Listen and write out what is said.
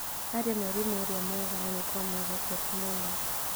Arĩ mwarimũ ũria mwega na nĩ twamwĩhokete mũno